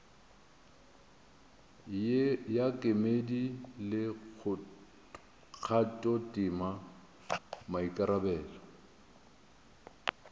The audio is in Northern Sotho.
ya kemedi le kgathotema maikarabelo